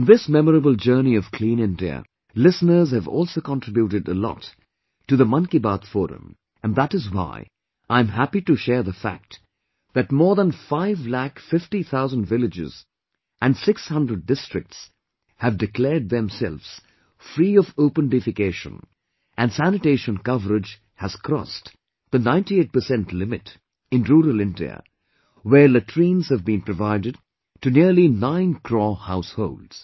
In this memorable journey of clean India, listeners have also contributed a lot to the 'Mann Ki Baat' forum and that is why I'm happy to share the fact that more than five lakh fifty thousand villages and 600 districts have declared themselves free of open defecation and sanitation coverage has crossed 98% limit in rural India whereas latrines have been provided to nearly nine crore households